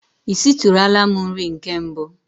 I sitụrụla m nri nke mbụ?